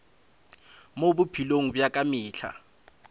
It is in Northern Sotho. mo bophelong bja ka mehla